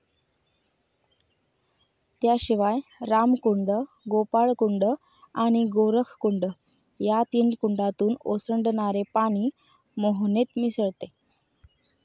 त्याशिवाय रामकुंड, गोपाळकुंड आणि गोरखकुंड या तीन कुंडातून ओसंडनणरे पाणी मोहनेत मिसळते.